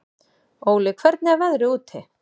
Óli, hvernig er veðrið úti?